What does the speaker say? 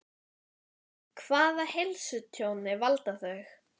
Hvaða heilsutjóni valda þau?